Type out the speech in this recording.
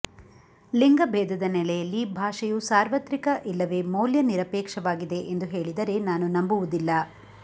ಲಿಂಗಭೇದದ ನೆಲೆಯಲ್ಲಿ ಭಾಷೆಯು ಸಾರ್ವತ್ರಿಕ ಇಲ್ಲವೇ ಮೌಲ್ಯ ನಿರಪೇಕ್ಷವಾಗಿದೆ ಎಂದು ಹೇಳಿದರೆ ನಾನು ನಂಬುವುದಿಲ್ಲ